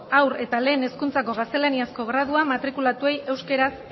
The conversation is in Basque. haur eta lehen hezkuntzako gaztelaniazko graduan matrikulatuei euskara